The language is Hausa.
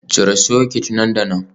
Cire soket nan da nan.